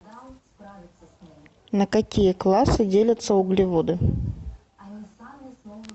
на какие классы делятся углеводы